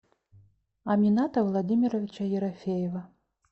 амината владимировича ерофеева